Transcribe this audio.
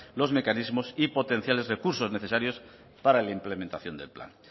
los mecanismos y potenciales recursos necesarios para la implementación del plan